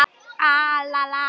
Lausnin er til staðar.